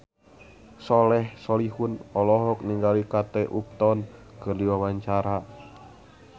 Soleh Solihun olohok ningali Kate Upton keur diwawancara